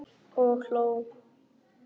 Og hló.